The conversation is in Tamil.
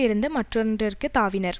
இருந்து மற்றொன்றிற்கு தாவினர்